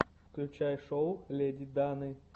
включай шоу леди даны